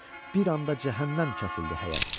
Bir anda cəhənnəm kəsildi həyət.